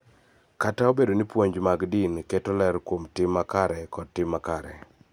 Kata obedo ni puonj mag din keto ler kuom tim makare kod tim makare.